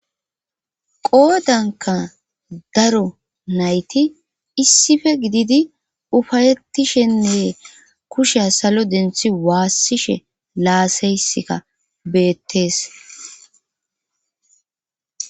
qoodanka daro nayti issife gididi ufayetishenee kushe salo denthi waassishe laasaysika beettees